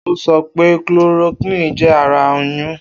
O sọ pe chloroquine jẹ ara nyún.